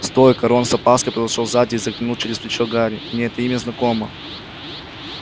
стой ка рон с опаской подошёл сзади и заглянул через плечо гарри мне это имя знакомо